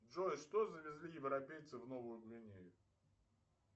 джой что завезли европейцы в новую гвинею